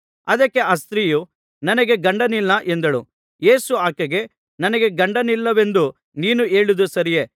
ಅದಕ್ಕೆ ಆ ಸ್ತ್ರೀಯು ನನಗೆ ಗಂಡನಿಲ್ಲ ಎಂದಳು ಯೇಸು ಆಕೆಗೆ ನನಗೆ ಗಂಡನಿಲ್ಲವೆಂದು ನೀನು ಹೇಳಿದ್ದು ಸರಿಯೇ